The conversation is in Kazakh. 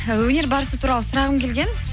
өнер барысы туралы сұрағым келген